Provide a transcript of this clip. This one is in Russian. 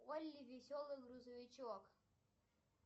полли веселый грузовичок